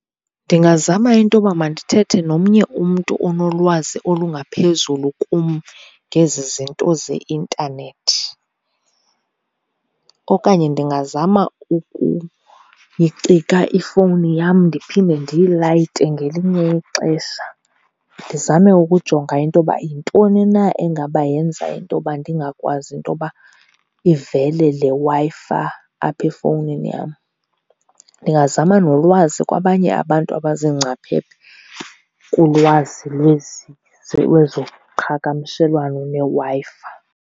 Ndingazama into yoba mandithethe nomnye umntu onolwazi olungaphezulu kum ngezi zinto zeintanethi. Okanye ndingazama ukuyicika ifowuni yam ndiphinde ndiyilayite ngelinye ixesha, ndizame ukujonga into yoba yintoni na engaba yenza into yoba ndingakwazi into yoba ivele le Wi-Fi apha efowunini yam. Ndingazama nolwazi kwabanye abantu abazingcaphephe kulwazi lwezi lwezoqhagamshelwano neWi-Fi.